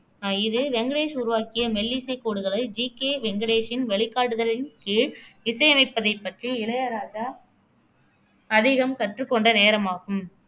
அஹ் இது வெங்கடேஷ் உருவாக்கிய மெல்லிசைக் கோடுகளை ஜி கே வெங்கடேஷின் வழிகாட்டுதலின் கீழ் இசையமைப்பதைப் பற்றி இளையராஜா அதிகம் கற்றுக்கொண்ட நேரமாகும்